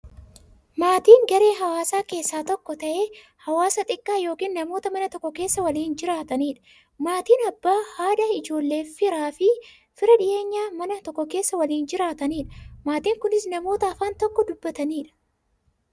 Maatiin garaa hawaasaa keessaa tokko ta'ee, hawaasa xiqqaa yookin namoota Mana tokko keessaa waliin jiraataniidha. Maatiin Abbaa, haadha, ijoolleefi fira dhiyeenyaa, Mana tokko keessaa waliin jiraataniidha. Maatiin kunnis, namoota afaan tokko dubbataniidha.